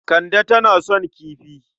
Kande tana son kifi.